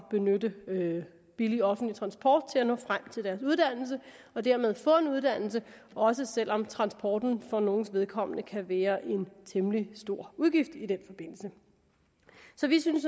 benytte billig offentlig transport til at nå frem til deres uddannelse og dermed få en uddannelse også selv om transporten for nogles vedkommende kan være en temmelig stor udgift i den forbindelse så vi synes